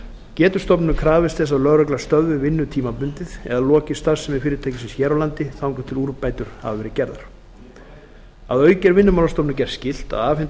getur stofnunin krafist þess að lögregla stöðvi vinnu tímabundið eða loki starfsemi fyrirtækisins hér á landi þangað til úrbætur hafa verið gerðar að auki er vinnumálastofnun gert skylt að afhenda